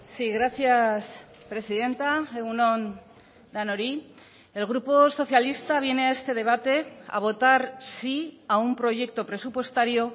sí gracias presidenta egun on denoi el grupo socialista viene a este debate a votar sí a un proyecto presupuestario